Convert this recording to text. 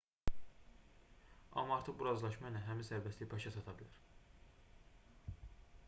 amma artıq bu razılaşma ilə həmin sərbəstlik başa çata bilər